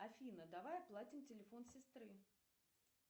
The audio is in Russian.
афина давай оплатим телефон сестры